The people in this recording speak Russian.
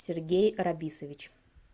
сергей рабисович